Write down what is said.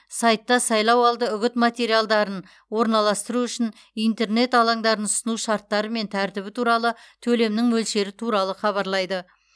сайтта сайлауалды үгіт материалдарын орналастыру үшін интернет алаңдарын ұсыну шарттары мен тәртібі туралы төлемнің мөлшері туралы хабарлайды